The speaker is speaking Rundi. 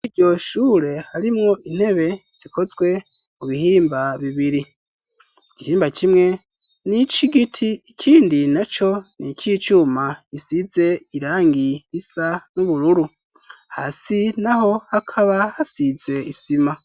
Iryo shure harimwo intebe zikozwe mu bihimba bibiri: igihimba kimwe n'icigiti ikindi na co ni ic'icuma. Isize irangi risa n'ubururu hasi naho hakaba hasize isima.